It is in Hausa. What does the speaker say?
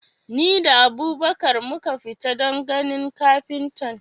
Ni da Abubakar muka tafi don ganin kafintan.